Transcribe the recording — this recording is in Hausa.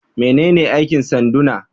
Menene aikin sanduna?